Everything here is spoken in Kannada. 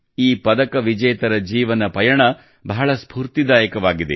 ಈ ಪದಕ ವಿಜೇತರ ಜೀವನ ಪಯಣ ಬಹಳ ಸ್ಫೂರ್ತಿದಾಯಕವಾಗಿದೆ